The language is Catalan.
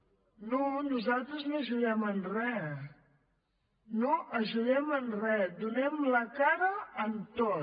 no nosaltres no ajudem en re no ajudem en re donem la cara en tot